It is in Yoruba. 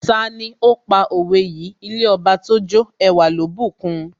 Tani ó pa òwe yìí " ilé Ọba tójó ẹwà ló bùkun?